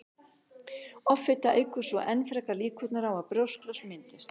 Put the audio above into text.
Offita eykur svo enn frekar líkurnar á að brjósklos myndist.